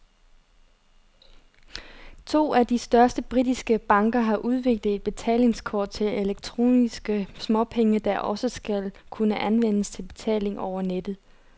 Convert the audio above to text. To af de største britiske banker har udviklet et betalingskort til elektroniske småpenge, der også skal kunne anvendes til betaling over nettet.